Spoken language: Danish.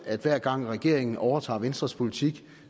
at hver gang regeringen overtager venstres politik